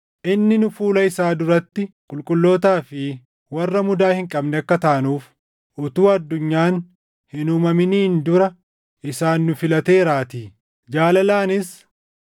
Inni nu fuula isaa duratti qulqullootaa fi warra mudaa hin qabne akka taanuuf utuu addunyaan hin uumaminiin dura isaan nu filateeraatii. Jaalalaanis